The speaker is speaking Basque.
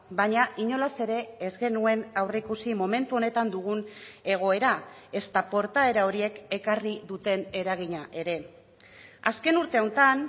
baina inolaz ere ez genuen aurreikusi momentu honetan dugun egoera ezta portaera horiek ekarri duten eragina ere azken urte hauetan